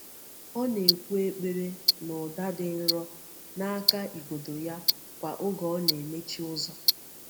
Ọ na-ekwù ekpere n’ụda dị nro n’aka igodo ya kwa oge ọ na-emechi ụzọ.